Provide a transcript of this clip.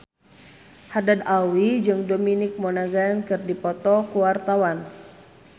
Haddad Alwi jeung Dominic Monaghan keur dipoto ku wartawan